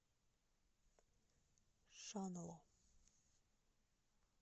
шанло